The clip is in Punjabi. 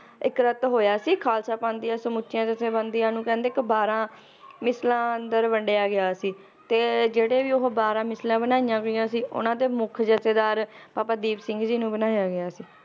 ਇਕ ਰਤ ਹੋਇਆ ਸੀ, ਖਾਲਸਾ ਪੰਥ ਦੀਆਂ ਸਮੁੱਚੀਆਂ ਜਥੇਬੰਦੀਆਂ ਨੂੰ ਕਹਿੰਦੇ ਇਕ ਬਾਰ੍ਹਾਂ ਮਿਸਲਾਂ ਅੰਦਰ ਵੰਡਿਆ ਗਿਆ ਸੀ ਤੇ ਜਿਹੜੇ ਵੀ ਉਹ ਬਾਰ੍ਹਾਂ ਮਿਸਲਾਂ ਬਣਾਈਆਂ ਗਈਆਂ ਸੀ, ਉਹਨਾਂ ਦੇ ਮੁਖ ਜੱਥੇਦਾਰ ਬਾਬਾ ਦੀਪ ਸਿੰਘ ਜੀ ਨੂੰ ਬਣਾਇਆ ਗਿਆ ਸੀ